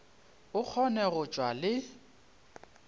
a kgone go tšwa le